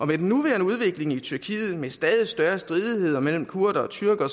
med den nuværende udvikling i tyrkiet med stadig større stridigheder mellem kurdere og tyrkere